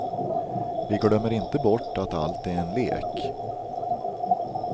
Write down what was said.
Vi glömmer inte bort att allt är en lek.